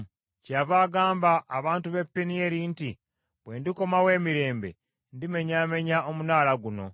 Kyeyava agamba abantu b’e Penieri nti, “Bwe ndikomawo emirembe, ndimenyaamenya omunaala guno.”